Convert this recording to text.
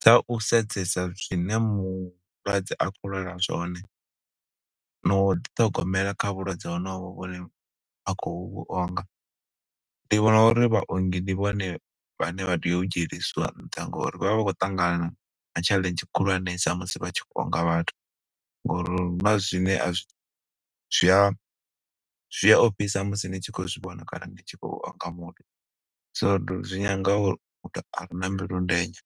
Dza u sedzesa zwine mulwadze a khou lwala zwone, no u ḓi ṱhogomela kha vhulwadze ho novho vhune a khou vhuonga. Ndi vhona uri vhaongi ndi vhone vhane vha tea u dzhielesiwa nṱha, ngo uri vha vha vha khou ṱangana na tshaḽenzhi khulwanesa musi vha tshi khou onga vhathu. Ngo uri huna zwine a zwi, zwi a zwi a ofhisa musi ni tshi khou zwi vhona kana ni tshi khou onga muṅwe. So zwi nyanga uri, muthu a re na mbilu ndenya,